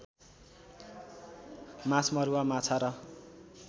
माछमरूवा माछा र